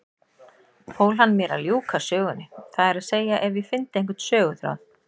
Fól hann mér að ljúka sögunni, það er að segja ef ég fyndi einhvern söguþráð.